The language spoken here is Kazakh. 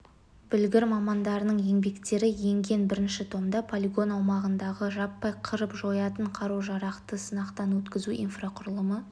білгір мамандарының еңбектері енген бірінші томда полигон аумағындағы жаппай қырып жоятын қару-жарақты сынақтан өткізу инфрақұрылымы